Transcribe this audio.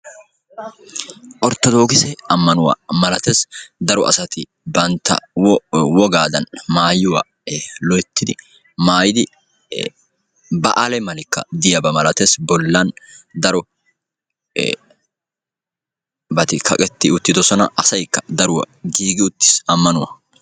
orttodookisse ammanuwa ma; latees. daro asati bantta wogaadan maayuwa loytti maayidi baale malabatikka diyaba malatees.